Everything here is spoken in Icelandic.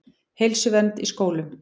Heilsuvernd í skólum.